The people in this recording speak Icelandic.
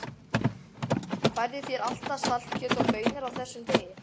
Færðu þér alltaf saltkjöt og baunir á þessum degi?